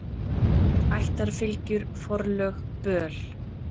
Ættarfylgjur, forlög, böl.